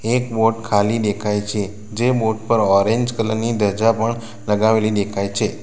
એક બોટ ખાલી દેખાય છે જે બોટ પર ઓરેન્જ કલર ની ધજા પણ લગાવેલી દેખાય છે.